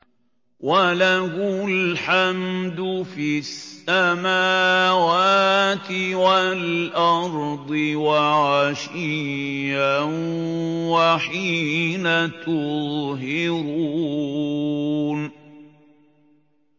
وَلَهُ الْحَمْدُ فِي السَّمَاوَاتِ وَالْأَرْضِ وَعَشِيًّا وَحِينَ تُظْهِرُونَ